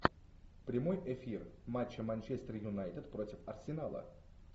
прямой эфир матча манчестер юнайтед против арсенала